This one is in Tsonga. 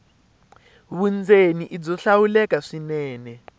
vundzeni i byo hlawuleka swinene